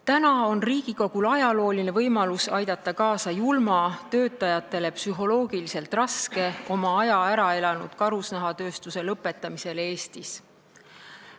Täna on Riigikogul ajalooline võimalus aidata kaasa julma, töötajatele psühholoogiliselt raske, oma aja ära elanud karusnahatööstuse lõpetamisele Eestis.